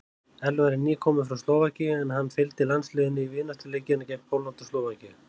Elvar er nýkominn frá Slóvakíu en hann fylgdi landsliðinu í vináttuleikina gegn Póllandi og Slóvakíu.